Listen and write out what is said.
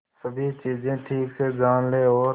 सभी चीजें ठीक से जान ले और